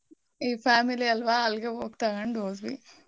ಈ family ಅಲ್ವಾ ಅಲ್ಗೆ ಹೋಗ್ ತಗಂಡ್ ಹೋದ್ವಿ.